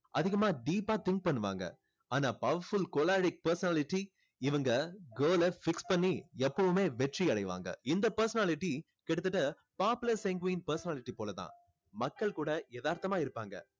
அதிகமா deep ah think பண்ணுவாங்க. ஆனா powerful choleric personality இவங்க goal அ fix பண்ணி எப்பவுமே வெற்றி அடைவாங்க. இந்த personality கிட்டத்தட்ட popular sanguine personality போல தான். மக்கள் கூட எதார்த்தமா இருப்பாங்க.